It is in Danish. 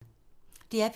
DR P2